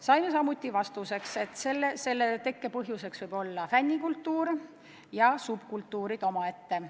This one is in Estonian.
Saime vastuseks, et selle taga on fännikultuur ja subkultuurid omaette.